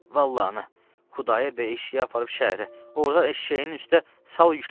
Vallah ana, Xudayar bəy eşşəyi aparıb şəhərə, orda eşşəyin üstə sal yükləyib.